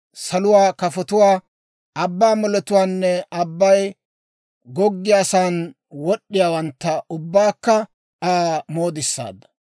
saluwaa kafotuwaa, abbaa moletuwaanne, abbay goggiyaasan wad'd'iyaawantta ubbaakka Aa moodissaadda.